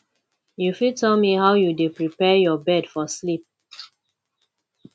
you fit tell me how you dey prepare your bed for sleep